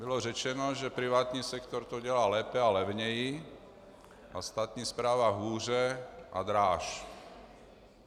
Bylo řečeno, že privátní sektor to dělá lépe a levněji a státní správa hůře a dráž.